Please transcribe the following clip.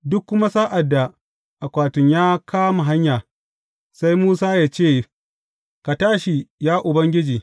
Duk kuma sa’ad da akwatin ya kama hanya, sai Musa ya ce, Ka tashi, ya Ubangiji!